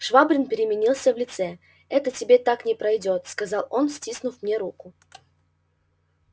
швабрин переменился в лице это тебе так не пройдёт сказал он стиснув мне руку